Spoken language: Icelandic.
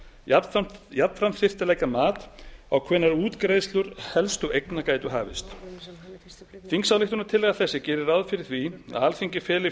jafnframt þyrfti að leggja mat á hvenær útgreiðslur helstu eigna gætu hafist þingsályktunartillaga þessi gerir því ráð fyrir að alþingi feli